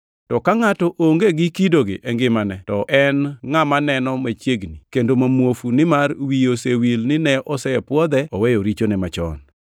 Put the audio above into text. To ka ngʼato onge gi kidogi e ngimane to en ngʼama neno machiegni kendo ma muofu nimar wiye osewil ni ne osepwodhe oweyo richoge machon.